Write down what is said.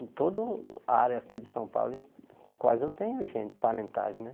Em todo a área aqui de São Paulo, eu quase eu tenho gente, parentagem, né?